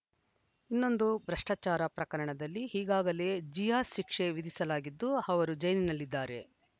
ಇನ್ನೊಂದು ಭ್ರಷ್ಟಾಚಾರ ಪ್ರಕರಣದಲ್ಲಿ ಈಗಾಗಲೇ ಜಿಯಾ ಶಿಕ್ಷೆ ವಿಧಿಸಲಾಗಿದ್ದು ಅವರು ಜೈಲಿನಲ್ಲಿದ್ದಾರೆ